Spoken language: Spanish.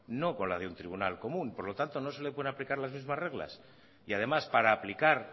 no con la de un tribunal común por lo tanto no se le pueden aplicar las mismas reglas y además para aplicar